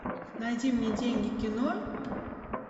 найди мне деньги кино